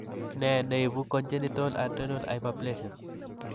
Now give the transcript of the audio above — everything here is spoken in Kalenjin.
Ne ne ibu congenital adrenal hyperplasia?